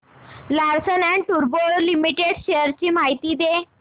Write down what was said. Larsen and टुर्बो limited shares ची माहिती दे